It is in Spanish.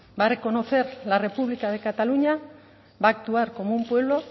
va a reconocer la república de cataluña va a actuar como un pueblo